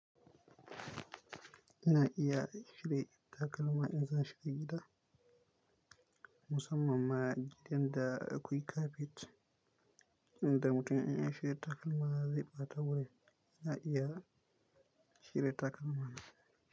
Ina iya cire takalma in za''a shiga gida, musamman ma gidan da akwai kafet inda mutum yana shiga takalma zai ɓata wuri. Ina iya shirya takalma na.